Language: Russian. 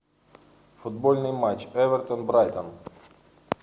футбольный матч эвертон брайтон